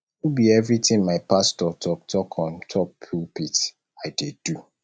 no be everytin my pastor talk talk on top pulpit i dey do